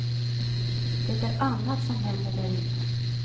Det är annat som händer där inne.